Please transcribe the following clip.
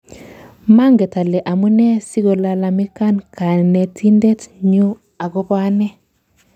"Manget ale amune sikolalamikani Kanetindet nyu agobo ane